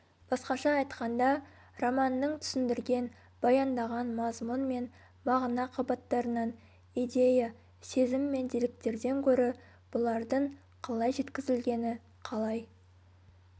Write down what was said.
басқаша айтқанда романның түсіндірген баяндаған мазмұн мен мағына қабаттарынан идея сезім мен деректерден гөрі бұлардың қалай жеткізілгені қалай